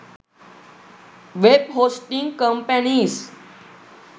web hosting companies